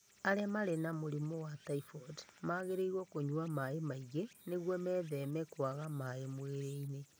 Arĩa marĩ na mũrimũ wa typhoid magĩrĩirũo kũnyua maĩ maingĩ nĩguo metheme kwaga maĩ mwĩrĩinĩ